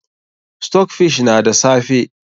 Stockfish na da safe.